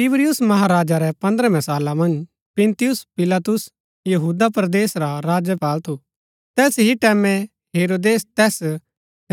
तिबिरियुस महाराजा रै पन्द्रमें साला मन्ज पुन्‍तियुस पिलातुस यहूदा परदेस रा राज्यपाल थू तैस ही टैमैं हेरोदेस तैस